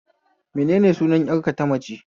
Menene sunan ƴar ka tamace?